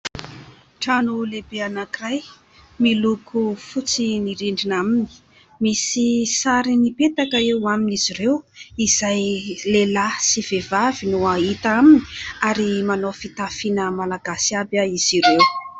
Trano lehibe anankiray miloko fotsy ny rindrina aminy. Misy sary nipetaka eo amin'izy ireo izay lehilahy sy vehivavy no hita aminy, ary manao fitafiana Malagasy aby izy ireo.